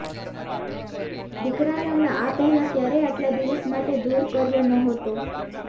દીકરાને અમે આ પહેલાં ક્યારેય આટલા દિવસ માટે દૂર કર્યો નહોતો